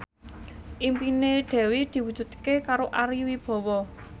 impine Dewi diwujudke karo Ari Wibowo